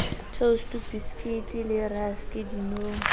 toustu bisekiti le raske dinong